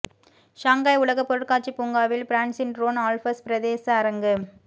Shanghai உலகப் பொருட்காட்சி பூங்காவில் பிரான்ஸின் ரோன் ஆல்ப்ஸ் பிரதேச அரங்கு